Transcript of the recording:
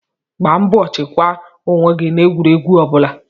Gbaa mbọ chekwaa onwe gị n'egwuregwu ọbụla